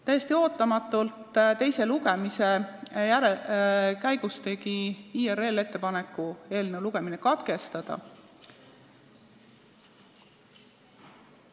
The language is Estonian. Täiesti ootamatult tegi IRL teise lugemise käigus ettepaneku eelnõu lugemine katkestada.